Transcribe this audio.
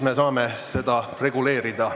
Me saame seda reguleerida.